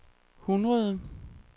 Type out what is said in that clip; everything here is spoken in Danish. hundrede